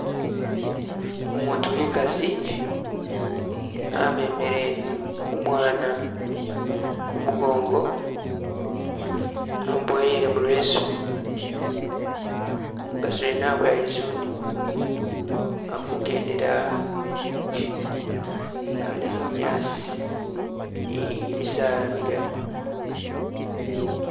Umutu wekasi amemele umwana kumugongo amuboyele mu leesu, umukasi mwene abowa lizune, alikugendela ali bunyaasi ni gyimisaala migali